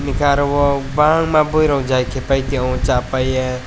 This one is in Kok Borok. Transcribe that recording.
hingke aro o bangma borok jai kei pai tango sapaie.